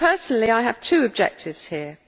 So, personally, I have two objectives here.